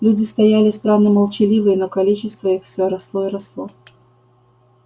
люди стояли странно молчаливые но количество их все росло и росло